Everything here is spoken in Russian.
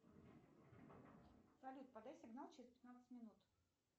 салют подай сигнал через пятнадцать минут